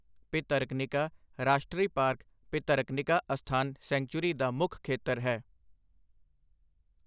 ਭਿਤਰਕਨਿਕਾ ਰਾਸ਼ਟਰੀ ਪਾਰਕ ਭਿਤਰਕਨਿਕਾ ਅਸਥਾਨ ਸੈੰਕਚੂਰੀ ਦਾ ਮੁੱਖ ਖੇਤਰ ਹੈ।